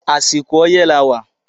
Àsìkò ọyẹ́ la wà